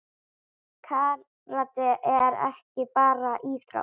Karate er ekki bara íþrótt.